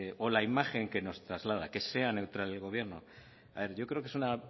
o la imagen que nos traslada que sea neutral el gobierno yo creo que es una